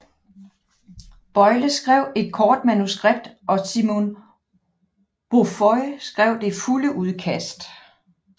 Boyle skrev et kort manuskript og Simon Beaufoy skrev det fulde udkast